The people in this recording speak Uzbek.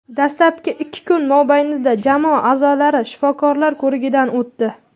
Dastlabki ikki kun mobaynida jamoa a’zolari shifokorlar ko‘rigidan o‘tdi.